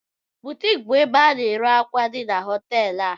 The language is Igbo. ‘Buutiique’ bụ ebe a na-ere akwa di n'hoteelu a